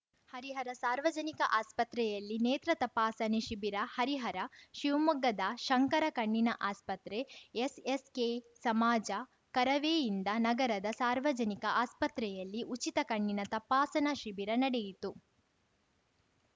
ಹರಿಹರ ಸಾರ್ವಜನಿಕ ಆಸ್ಪತ್ರೆಯಲ್ಲಿ ನೇತ್ರ ತಪಾಸಣೆ ಶಿಬಿರ ಹರಿಹರ ಶಿವಮೊಗ್ಗದ ಶಂಕರ ಕಣ್ಣಿನ ಆಸ್ಪತ್ರೆ ಎಸ್‌ಎಸ್‌ಕೆ ಸಮಾಜ ಕರವೇಯಿಂದ ನಗರದ ಸಾರ್ವಜನಿಕ ಆಸ್ಪತ್ರೆಯಲ್ಲಿ ಉಚಿತ ಕಣ್ಣಿನ ತಪಾಸಣಾ ಶಿಬಿರ ನಡೆಯಿತು